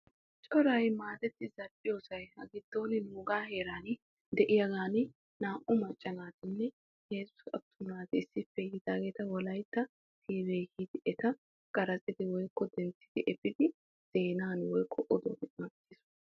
Coray maadetti zal'iyosan nuuga heeran heezzu maccanne naa'u atuma naata wolaytta televizhzhinne yiiddi etta duuqqiddi efiis.